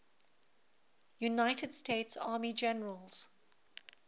united states army generals